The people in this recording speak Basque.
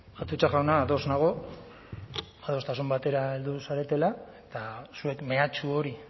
atutxa jauna ados nago adostasun batera heldu zaretela eta zuek mehatxu hori